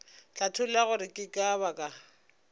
hlatholla gore ke ka baka